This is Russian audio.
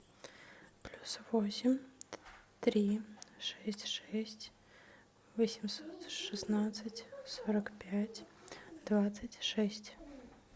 плюс восемь три шесть шесть восемьсот шестнадцать сорок пять двадцать шесть